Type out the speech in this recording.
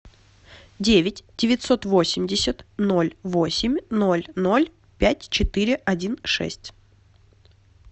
девять девятьсот восемьдесят ноль восемь ноль ноль пять четыре один шесть